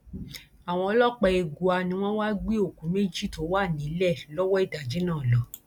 àwọn ọlọpàá egua ni wọn wáá gbé òkú méjì tó wà nílẹ lọwọ ìdájí náà lọ